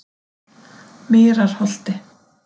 Mýrarholti